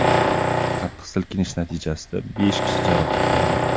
Qattiq silkinish natijasida besh kishi jarohatlangan.